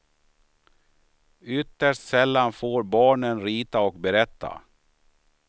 Ytterst sällan får barnen rita och berätta.